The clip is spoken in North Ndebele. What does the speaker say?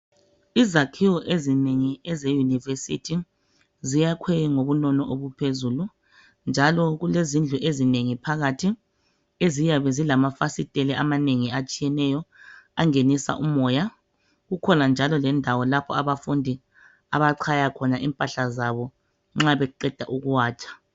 Izakhiwo ezinengi ezeYunivesithi ziyakhwe ngobunono obuphezulu njalo kulezindlu ezinengi phakathi lamafasitela atshiyeneyo angenisa umoya. Kukhona lendawo abafundi abachaya khona impahla zabo nxa beqeda ukuwatsha